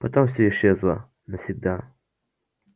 потом все исчезло навсегда